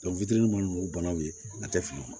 fitini mana k'u banaw ye a tɛ fili u ma